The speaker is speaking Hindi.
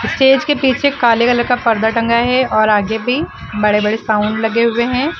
स्टेज के पीछे काले कलर का पर्दा टंगा है और आगे भी बड़े बड़े साउंड लगे हुए हैं।